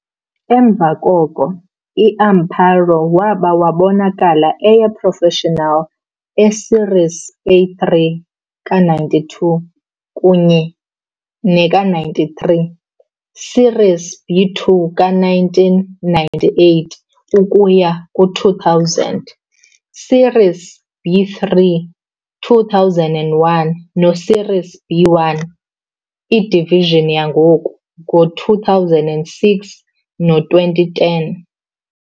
Emva koko, i-Amparo waba wabonakala eye- professional e Series A-3 ka-92 kunye nama-93, Series B-2 ka-1998 no-2000 Series B-3, 2001 no Series B-1, Division yangoku, ngo-2006 no-2010.